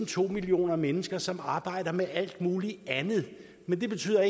to millioner mennesker som arbejder med alt muligt andet men det betyder